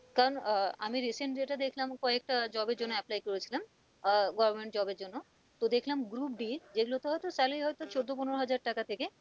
কারণ আহ আমি recent যেটা দেখলাম কয়েকটা job এর জন্য apply করেছিলাম আহ government job এর জন্য তো দেখলাম government job যে গুলোতে হয়তো চোদ্দ পনেরো হাজার টাকা থেকে